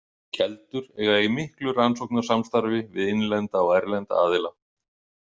Keldur eiga í miklu rannsóknasamstarfi við innlenda og erlenda aðila.